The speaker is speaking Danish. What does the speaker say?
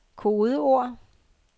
kodeord